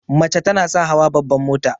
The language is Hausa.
Mace tana son hawa babban mota.